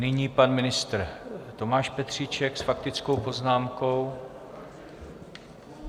Nyní pan ministr Tomáš Petříček s faktickou poznámkou.